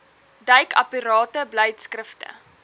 duik aparte beleidskrifte